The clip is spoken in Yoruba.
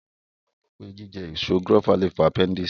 Àwọn èèyàn gbàgbọ́ pé jíjẹ èso gúrófà lè fa apẹ́ndìsì